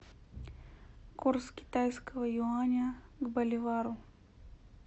курс китайского юаня к боливару